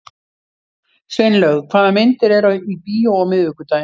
Sveinlaug, hvaða myndir eru í bíó á miðvikudaginn?